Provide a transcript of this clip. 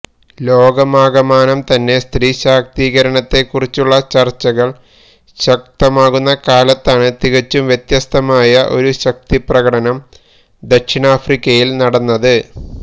ലോകമാകമാനം തന്നെ സ്ത്രീ ശാക്തീകരണത്തെ കുറിച്ചുള്ള ചർച്ചകൾ ശക്തമാകുന്ന കാലത്താണ് തികച്ചും വ്യത്യസ്തമായ ഒരു ശക്തിപ്രകടനം ദക്ഷിണാഫ്രിക്കയിൽ നടന്നത്